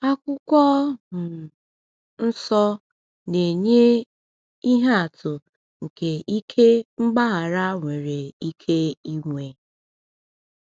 Akwụkwọ um Nsọ na-enye ihe atụ nke ike mgbaghara nwere ike inwe.